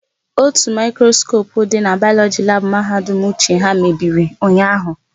Ótù maịkroskopu dị na Bayọlọjị labụ Mahadum Uche ha mebiri ụnyaahụ.